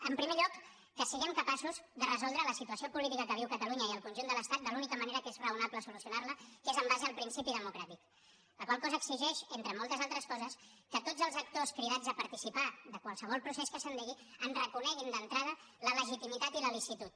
en primer lloc que siguem capaços de resoldre la situació política que viu catalunya i el conjunt de l’estat de l’única manera que és raonable solucionar la que és en base al principi democràtic la qual cosa exigeix entre moltes altres coses que tots els actors cridats a participar de qualsevol procés que s’endegui en reconeguin d’entrada la legitimitat i la licitud